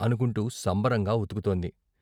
అనుకుంటూ సంబరంగా ఉతుకుతోంది.